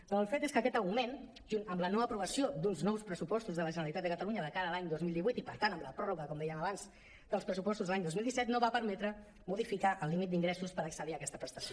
però el fet és que aquest augment junt amb la no aprovació d’uns nous pressupostos de la generalitat de catalunya de cara a l’any dos mil divuit i per tant amb la pròrroga com dèiem abans dels pressupostos de l’any dos mil disset no va permetre modifi·car el límit d’ingressos per accedir a aquesta prestació